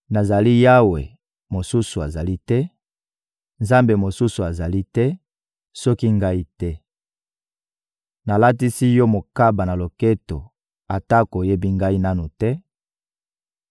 Nazali Yawe, mosusu azali te; Nzambe mosusu azali te, soki Ngai te. Nalatisi yo mokaba na loketo atako oyebi Ngai nanu te;